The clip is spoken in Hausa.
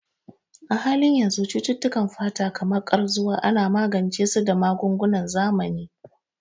A halin yanzu, cututtukan fata kamar Ƙarzuwa ana magance su da magungunan zamani.